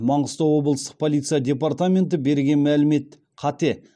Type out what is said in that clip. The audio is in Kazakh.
маңғыстау облыстық полиция департаменті берген мәлімет қате